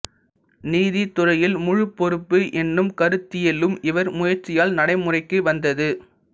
நீதித்துறையில் முழுப் பொறுப்பு என்னும் கருத்தியலும் இவர் முயற்சியால் நடை முறைக்கு வந்தது